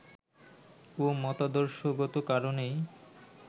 ও মতাদর্শগত কারণেই